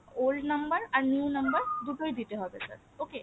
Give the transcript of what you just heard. old number আর new number দুটোই দিতে হবে sir okay